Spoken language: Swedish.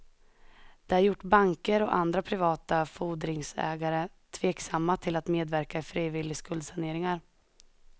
Det har gjort banker och andra privata fordringsägare tveksamma till att medverka i frivillig skuldsaneringar.